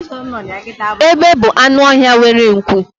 egbe bu anụ ọhịa nwere nku